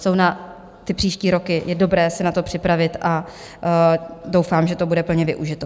Jsou na ty příští roky, je dobré si na to připravit a doufám, že to bude plně využito.